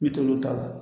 I bi t'olu ta la